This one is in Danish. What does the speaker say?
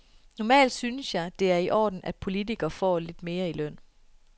Normalt synes jeg, det er i orden, at politikere får lidt mere i løn.